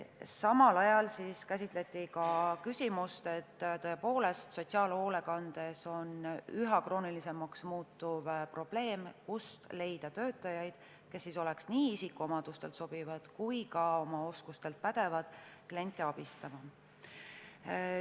Samal ajal käsitleti ka tõepoolest sotsiaalhoolekandes üha kroonilisemaks muutuvat probleemi, kust leida töötajaid, kes oleksid nii isikuomadustelt sobivad kui ka oma oskuste poolest pädevad kliente abistama.